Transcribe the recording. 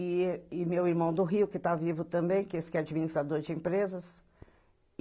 E e meu irmão do Rio, que está vivo também, que é administrador de empresas.